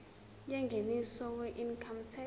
yengeniso weincome tax